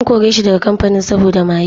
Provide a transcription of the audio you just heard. An kore shi daga kamfanin saboda maye.